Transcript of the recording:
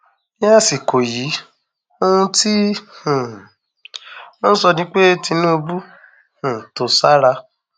ní àsìkò yìí ohun tí um wọn ń sọ ni pé tinubu um tó sára